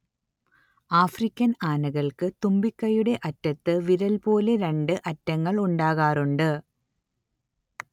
African ആനകൾക്ക് തുമ്പിക്കൈയുടെ അറ്റത്ത് വിരൽ പോലെ രണ്ട് അറ്റങ്ങൾ ഉണ്ടാകാറുണ്ട്